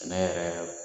Sɛnɛ yɛrɛ